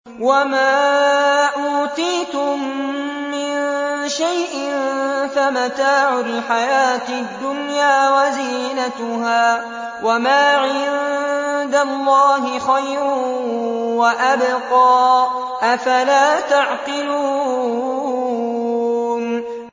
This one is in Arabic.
وَمَا أُوتِيتُم مِّن شَيْءٍ فَمَتَاعُ الْحَيَاةِ الدُّنْيَا وَزِينَتُهَا ۚ وَمَا عِندَ اللَّهِ خَيْرٌ وَأَبْقَىٰ ۚ أَفَلَا تَعْقِلُونَ